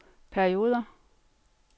perioder